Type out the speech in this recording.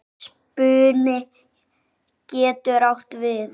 Spuni getur átt við